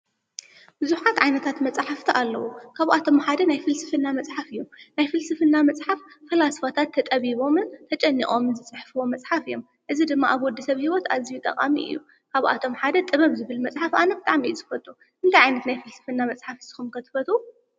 ዝኾኑ ዓይነታት መፃሕፍቲ ኣለዉ፡፡ ካብኣቶም ሓደ ናይ ፍልስፍና መፅሓፍ እዩ፡፡ ናይ ፍልስፍና መፅሓፍ ፈላስፋታት ተጠቢቦምን ተጨኒቖምን ዝፅሕፍዎም መፅሓፍ እዮም፡፡ እዚ ድማ ኣብ ወዲሰብ ሂወት ኣዝዩ ጠቓሚ እዩ፡፡ ካብኣቶም ሓደ ጥበብ ዝብል መፅሓፍ ኣነ ብጣዕሚ እየ ዝፈትዎ፡፡ ታይ ዓይነት ናይ ፍልስፍና መፅሓፍ ንስኹም ከ ትፈትዉ?